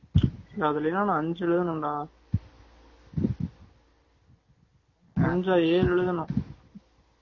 நான் அதுல எல்லாம் அஞ்சு எழுதணும் டா அஞ்சா எழு எழுதணும்